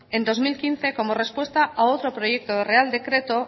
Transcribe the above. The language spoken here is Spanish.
en dos mil quince como respuesta a otro proyecto de real decreto